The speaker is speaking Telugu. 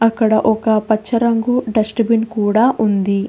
ఇక్కడ ఒక పచ్చ రంగు డస్ట్ బిన్ కూడా ఉంది.